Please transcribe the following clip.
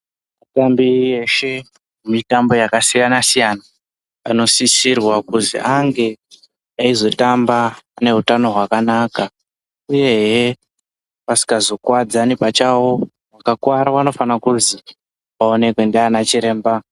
Vatambi veshe, vemitambo yakasiyana-siyana anosisirwa kuti ange eizotamba neutano hwakanaka, uyehe asikazokuwadzani pachawo. Vakakuwara vanofanira kuzi vaonekwe ndiana chiremba.